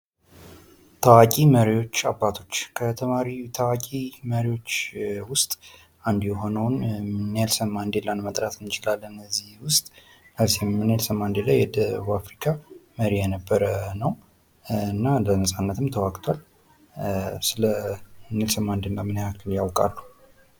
ታዋቂ መሪዎች አባቶች ። ከታዋቂ መሪዎች ውስጥ አንዱ የሆነውን ኔልሰን ማንዴላን መጥራት እንችላለን እዚህ ውስጥ ኔልሰን ማንዴላ የደቡብ አፍሪካ መሪ የነበረ ነው ። እና ለነፃነትም ተዋግቷል ። ስለ ኔልሰን ማንዴላ ምን ያክል ያውቃሉ?